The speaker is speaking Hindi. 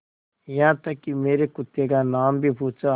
यहाँ तक कि मेरे कुत्ते का नाम भी पूछा